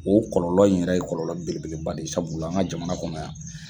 O kɔlɔlɔ in yɛrɛ ye kɔlɔlɔ belebeleba de ye sabula an ga jamana kɔnɔ yan